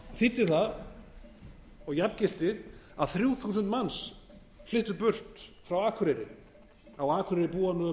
þýddi það og jafngilti að frú þúsund manns flyttu burt frá akureyri á akureyri búa nú um átján